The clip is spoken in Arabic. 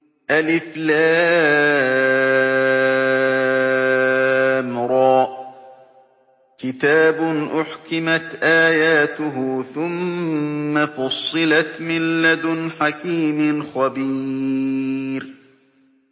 الر ۚ كِتَابٌ أُحْكِمَتْ آيَاتُهُ ثُمَّ فُصِّلَتْ مِن لَّدُنْ حَكِيمٍ خَبِيرٍ